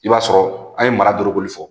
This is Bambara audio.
I b'a sɔrɔ a ye mara dɔrɔgu fɔ